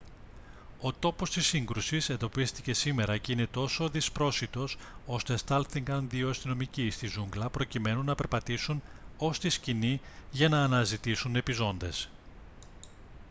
ο τόπος της σύγκρουσης εντοπίστηκε σήμερα και είναι τόσο δυσπρόσιτος ώστε στάλθηκαν δύο αστυνομικοί στη ζούγκλα προκειμένου να περπατήσουν ως τη σκηνή για να αναζητήσουν επιζώντες